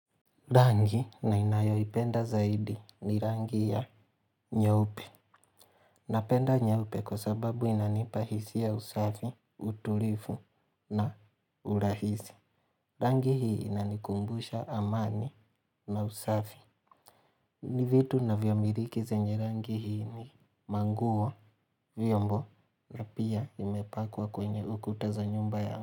Rangi ninayo ipenda zaidi ni rangi ya nyaupe. Napenda nyaupe kwa sababu inanipa hisia ya usafi, utulifu na urahisi. Rangi hii inanikumbusha amani na usafi. Ni vitu navyomiriki zenye rangi hii ni manguo vyombo na pia imepakwa kwenye ukuta za nyumba yangu.